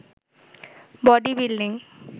body building